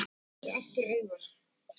Lygnir aftur augunum.